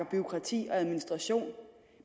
bureaukrati og administration